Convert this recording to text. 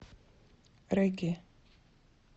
регги